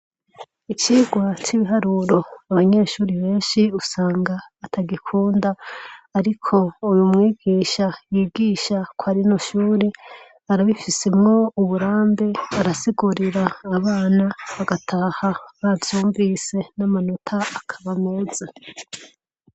Icirwa c'ibiharuro abanyeshuri benshi usanga atagikunda, ariko uyu mwigisha yigisha koarinushuri arabifisemwo uburambe arasigurira abana bagataha bazyumvise n'amanota akaba meza.